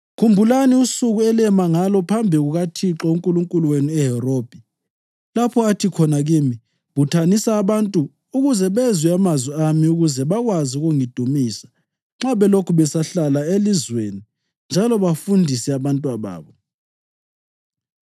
Khumbulani usuku elema ngalo phambi kukaThixo uNkulunkulu wenu eHorebhi, lapho athi khona kimi, ‘Buthanisa abantu ukuze bezwe amazwi ami ukuze bakwazi ukungidumisa nxa belokhu besahlala elizweni njalo bafundise abantwababo.’